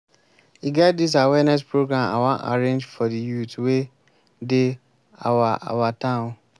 e get dis awareness program i wan arrange for the youths wey dey our our town